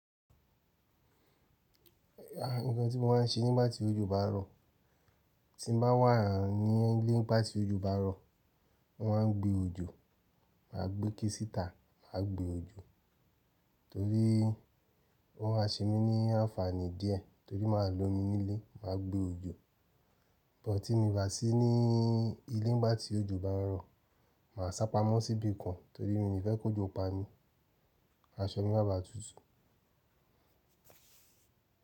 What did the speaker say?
Gbogbo tí mo máa ń ṣe nígbà tí ojú bá rọ, tí n bá wà ní ilé nígbà tí ojú bá rọ, mo máa ń gbe ojò, màá gbé ikẹ́ sìtà, màá gbe ojò torí ó máa ṣe mí ní àǹfààní díẹ̀ torí màá lo omi nílé, màá gbe ojò. But, tí mi bá sí ní ilé nígbà tí ojo bá n rọ, màá sápamọ́ síbí kan torí mi o ni fẹ́ kó jọ pà mí, aṣọ mi má bàá tutù.